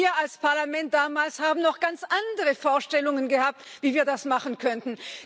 Wir als Parlament damals haben noch ganz andere Vorstellungen gehabt, wie wir das machen könnten.